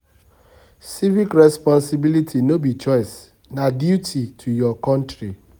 Civic responsibility no be choice, na duty to you country.